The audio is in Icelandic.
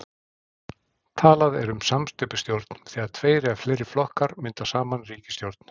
Talað er um samsteypustjórn þegar tveir eða fleiri flokkar mynda saman ríkisstjórn.